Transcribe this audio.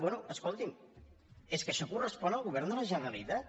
bé escolti’m és que això correspon al govern de la generalitat